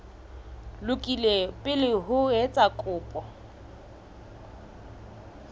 lokile pele o etsa kopo